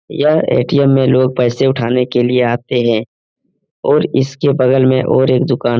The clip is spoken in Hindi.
यह ए.टी.एम. में लोग पैसे उठाने के लिए आते हैं और इसके बगल में और एक दुकान --